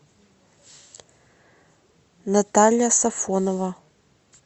наталья сафонова